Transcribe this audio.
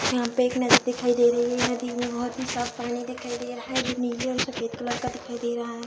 यहाँ पे एक नदी दिखाई दे रही है। नदी में बहोत ही साफ़ पानी दिखाई दे रहा है जो नीले और सफ़ेद कलर का दिखाई दे रहा है।